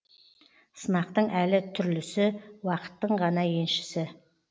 сынақтың әлі түрлісі уақыттың ғана еншісі